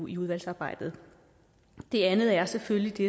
i udvalgsarbejdet det andet er selvfølgelig det